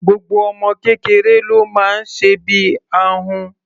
Gbogbo ọmọ kékeré ló máa ń sẹbí ahun.